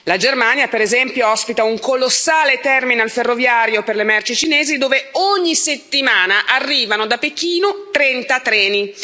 La Germania, per esempio, ospita un colossale terminal ferroviario per le merci cinesi, dove ogni settimana arrivano da Pechino 30 treni.